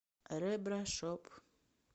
ребра шоп